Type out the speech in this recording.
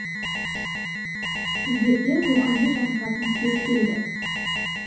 сіздерге рухани жаңғыратын кез келді